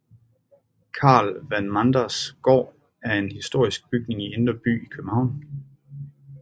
Karel van Manders Gård er en historisk bygning i Indre By i København